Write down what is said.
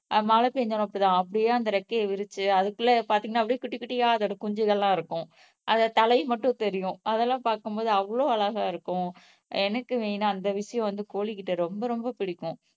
மழை பெஞ்சாலும் அப்படித் தான் அப்படியே அந்த ரெக்கைய விரிச்சு அதுக்குள்ள பாத்தீங்கன்னா குட்டிகுட்டியா அதோட குஞ்சுகள்லாம் இருக்கும் அதை தலைய மட்டும் தெரியும் அதெல்லாம் பாக்கும்போது அவ்வளவு அழகா இருக்கும் எனக்கு மெயினா, அந்த விஷயம் வந்து கோழிகிட்ட ரொம்ப ரொம்ப பிடிக்கும்